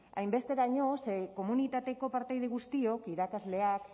hainbesteraino ze komunitateko partaide guztiok irakasleak